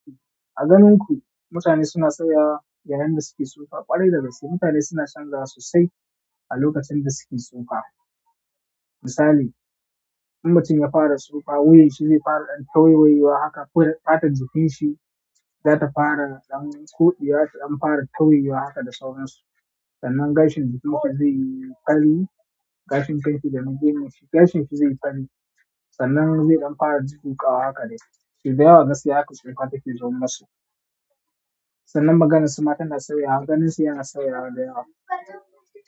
A ganin ku, mutane suna sauyawa yayin da suke tsufa? Ƙwarai da gaske mutane suna canzawa sosai a lokacin da suke tsufa. Misali, in mutum ya fara tsufa, wuyan shi zai fara ɗan tawaiwayewa haka. Ko fatar jikin shi za ta fara ɗan koɗewa, ta ɗan fara tauyewa haka da sauransu. Sannan gashin jikin ma ba zai yi fari. Gashin kan shi dana gemun shi, gashin shi zai fari. Sannan zai ɗan fara dudduƙawa haka dai. So dayawa gaskiya haka tsufa take zo masu. Sannan maganar su ma tana sauya, ganin su yana sauya dayawa.